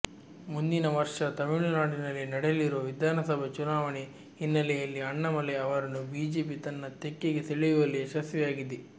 ಮುಂದಿನ ವರ್ಷ ತಮಿಳುನಾಡಿನಲ್ಲಿ ನಡೆಯಲಿರುವ ವಿಧಾನಸಭಾ ಚುನಾವಣೆ ಹಿನ್ನೆಲೆಯಲ್ಲಿ ಅಣ್ಣಾಮಲೈ ಅವರನ್ನು ಬಿಜೆಪಿ ತನ್ನ ತೆಕ್ಕೆಗೆ ಸೆಳೆಯುವಲ್ಲಿ ಯಶಸ್ವಿಯಾಗಿದೆ